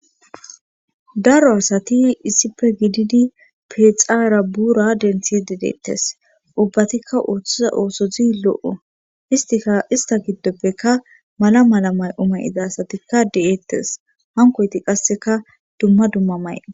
Daro asati issife gididi pexaara buura denthi dedeettes ubbatikka ooththiza oosozi lo'o istika ista giddoppeka mala mala may'o may'iza asatikka de'eettes hankoyti qasseka dumma dumma may